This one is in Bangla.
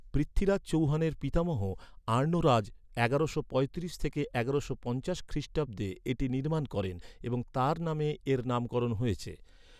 পৃথ্বীরাজ চৌহানের পিতামহ আর্ণোরাজ এগারোশো পঁয়ত্রিশ থেকে এগারোশো পঞ্চাশ খ্রিষ্টাব্দে এটি নির্মাণ করেন এবং তাঁর নামে এর নামকরণ হয়েছে।